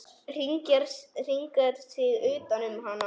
Hringar sig utan um hana.